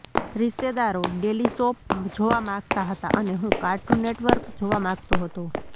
રિશ્તેદારો daily soap જોવા માગતા હતા અને હું કાર્ટૂન નેટવર્ક જોવા માગતો હતો